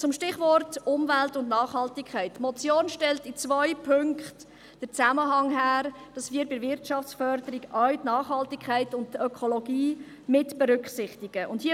Zum Stichwort Umwelt und Nachhaltigkeit: Die Motion stellt in zwei Punkten den Zusammenhang her, dass wir bei der Wirtschaftsförderung auch die Nachhaltigkeit und die Ökologie mitberücksichtigen und mehr Transparenz schaffen.